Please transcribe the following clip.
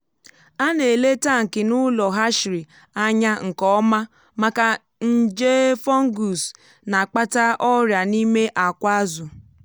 a na-ele tankị n’ụlọ hatchery anya nke ọma maka nje fungus na-akpata ọrịa n’ime akwa azụ.